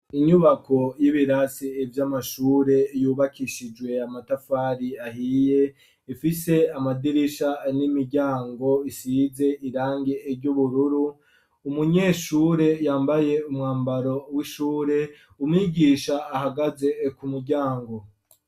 Inyubako y'ibirasi ivy'amashure yubakishijwe amatafari ahiye ifise amadirisha n'imiryango asize irangi ry'ubururu umunyeshure yambaye umwambaro w'ishure umwigisha ahagaze ku muryango.